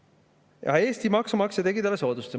Aga Eesti maksumaksja tegi talle soodustuse.